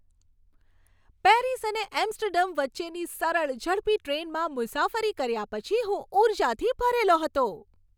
Paris અને Amsterdam વચ્ચેની સરળ, ઝડપી ટ્રેનમાં મુસાફરી કર્યા પછી હું ઊર્જાથી ભરેલો હતો.